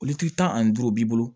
Litiri tan ani duuru b'i bolo